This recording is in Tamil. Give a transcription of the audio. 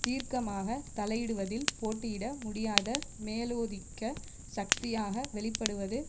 தீர்க்கமாக தலையிடுவதில் போட்டியிட முடியாத மேலாதிக்க சக்தியாக வெளி படுவது